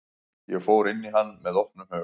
Ég fór inn í hann með opnum hug.